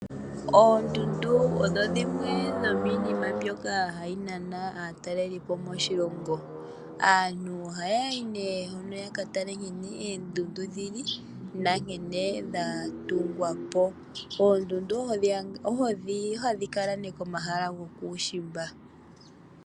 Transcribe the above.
Oondundu odho dhimwe dhomiinima mbyoka haya nana aatalelipo moshilongo. Aantu ohaya yi ne hono yaka tale nkene oondundu dhili, nankene dha tungwapo. Oondundu ohadhi kala ne komahala gokuushimba.